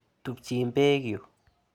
Tumchin peek yu.